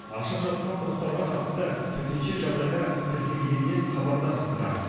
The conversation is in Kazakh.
ашық жатқан құдықтарға қатысты төтенше жағдайлар тіркелгенінен хабардарсыздар